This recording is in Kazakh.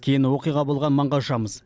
кейін оқиға болған маңға ұшамыз